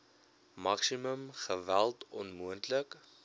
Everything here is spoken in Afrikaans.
maksimum geweld onmoontlik